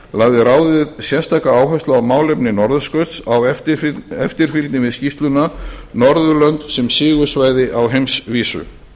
lagði ráðið sérstaka áherslu á málefni norðurskautsins á eftirfylgni við skýrsluna norðurlönd sem sigursvæði á heimsvísu